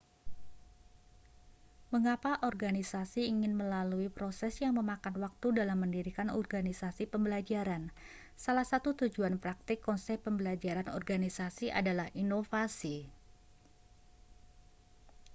mengapa organisasi ingin melalui proses yang memakan waktu dalam mendirikan organisasi pembelajaran salah satu tujuan praktik konsep pembelajaran organisasi adalah inovasi